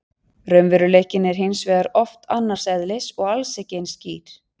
Raunveruleikinn er hins vegar oft annars eðlis og alls ekki eins skýr.